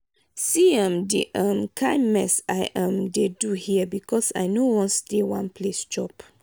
see um the um kin mess i um dey do here because i no wan stay one place chop.